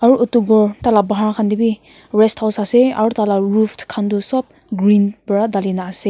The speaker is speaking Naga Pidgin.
aru etu ghor tai la bahar khan te bi rest house ase aru tai la roof khan toh sop green para dali ne ase.